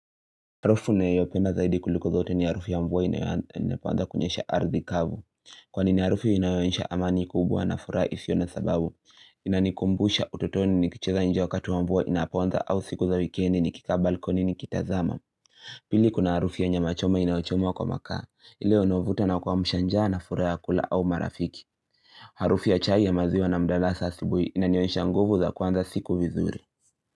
Harufu ninayoipenda zaidi kuliko zote ni harufu ya mvua inapoanza kunyesha ardhi kavu Kwanini harufu inayoonyesha amani kubwa na furaha isiyo na sababu Inanikumbusha utotoni nikicheza nje wakati wa mvua inapoanza au siku za wikendi nikika balkoni nikitazama Pili kuna harufu ya nyamachoma inayochomwa kwa makaa ile wanaovuta na kuamsha njaa na furaha ya kula au marafiki Harufu ya chai ya maziwa na mdala sasibui inanionyesha nguvu za kuanza siku vizuri.